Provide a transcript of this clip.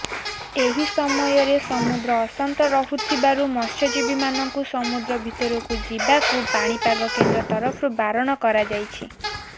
ଏହି ସମୟରେ ସମୁଦ୍ର ଅଶାନ୍ତ ରହୁଥିବାରୁ ମତ୍ସ୍ୟଜୀବୀମାନଙ୍କୁ ସମୁଦ୍ର ଭିତରକୁ ଯିବାକୁ ପାଣିପାଗ କେନ୍ଦ୍ର ତରଫରୁ ବାରଣ କରାଯାଇଛି